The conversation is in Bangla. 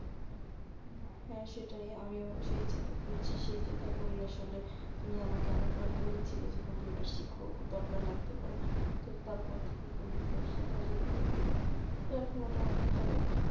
হ্যাঁ সেটাই আমিও সেই চিন্তাই করছি সেই চিন্তাই করি আসলে তুমি আমাকে অনেকবার বলেছিলে যে computer শেখা দরকার লাগতে পারে কিন্তু তারপর থেকে computer শেখা শুরু করেছি তো এখন মোটামুটি ভাবে